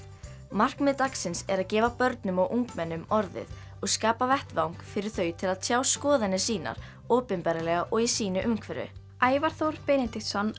markmið dagsins er að gefa börnum og ungmennum orðið og skapa vettvang fyrir þau til að tjá skoðanir sínar opinberlega og í sínu umhverfi Ævar Þór Benediktsson